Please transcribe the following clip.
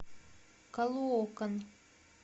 калоокан